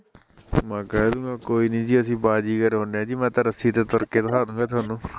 ਮੈਂ ਕਹਿਦੂਗਾ ਕੋਈ ਨੀ ਜੀ ਅਸੀਂ ਬਾਜ਼ੀਗਰ ਹੁੰਦੇ ਆ ਜੀ ਮੈਂ ਤਾਂ ਰੱਸੀ ਤੇ ਤੁਰ ਕੇ ਵਿਖਾਦੂਗਾ ਤੁਹਾਨੂੰ